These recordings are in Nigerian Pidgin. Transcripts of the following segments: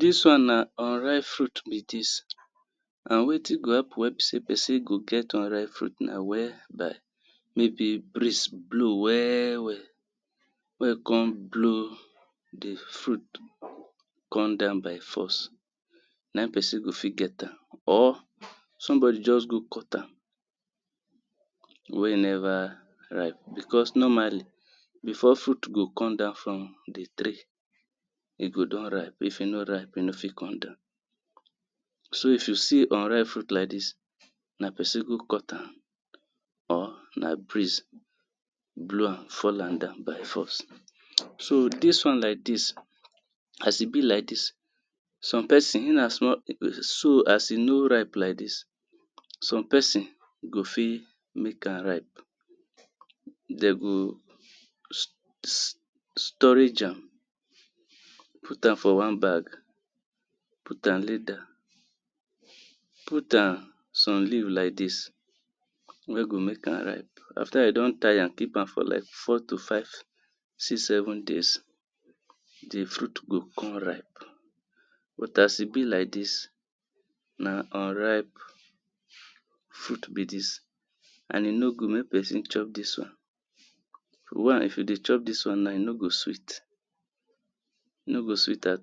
Dis one na unripe fruit be dis and wetin go happen wen be sey person go get unripe fruit na where by breeze blow well well wen come blow di fruit come down by force. Na im person go get am, or somebody just go cut am wen e never ripe because normally before fruit go come down from di tree, e go don ripe if e no ripe e no fit come down. So if you see unripe fruit like dis na person go cut am or na breeze blow am down fall am by force. So dis one like dis as e be like dis, some person if na small as e no ripe like dis some person go fit make am ripe dem go [urn] storage am, put am for one bag, put am leather put am some leave like dis, wen go make am ripe, after you don tie am keep am for like four, five, six, to seven days, di fruit go come ripe, but as e be like dis na unripe fruit be dis, and e no good make person chop dis one, one if you dey chop dis one na e no go sweet, e no go sweet all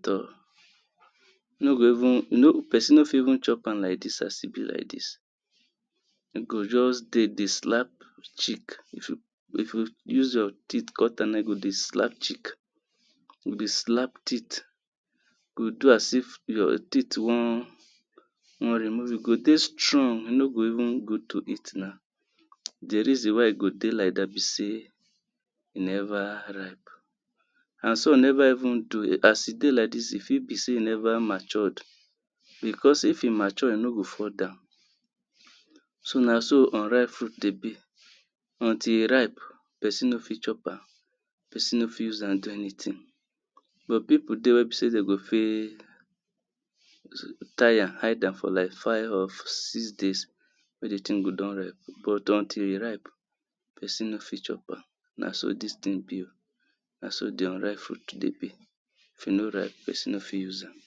e no go person no go even chop am like dis, e go just dey dey slap cheek if you if you use your teeth cut am na, e go dey slap cheek e go dey slap teeth, e go do as if your teeth wan wan remove, e go dey strong, e no go even good to eat na, di reason why e go dey like dat be sey e never ripe, and some n ever even do as e dey like dis e fit be sey e never matured because if e mature e no go fall down, so na so unripe fruit dey be, until e ripe person no fit chop am, person no fit use am do anything, but people dey wen go fit tie am hide am, for like five or six days wen di thing go don ripe but until e ripe person no go fit chop na so di unripe fruit be oh, until e ripe person no go fit use am.